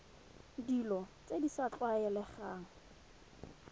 dilo tse di sa tlwaelegang